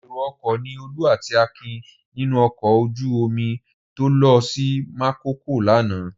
Èrò-ọkọ̀ ni Olú àti Akin nínú ọkọ̀ ojú-omi tó lọ sí Makòko lánàá.